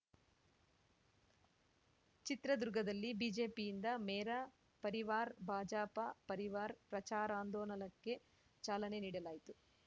ಚಿತ್ರದುರ್ಗದಲ್ಲಿ ಬಿಜೆಪಿಯಿಂದ ಮೇರ ಪರಿವಾರ್‌ ಭಾಜಪ ಪರಿವಾರ್‌ ಪ್ರಚಾರಾಂದೋಲನಕ್ಕೆ ಚಾಲನೆ ನೀಡಲಾಯಿತು